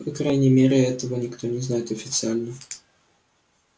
по крайней мере этого никто не знает официально